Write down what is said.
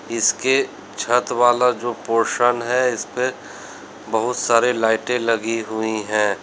इसके छत वाला जो पोर्शन है इसपे बहुत सारे लाइटे लगी हुई हैं।